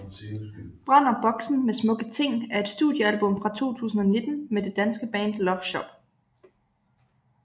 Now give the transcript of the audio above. Brænder Boksen Med Smukke Ting er et studiealbum fra 2019 med det danske band Love Shop